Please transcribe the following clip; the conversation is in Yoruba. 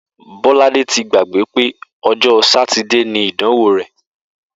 Bó̩ládé ti gbàgbé pé o̩jó̩ Sátidé ni ìdànwó rè̩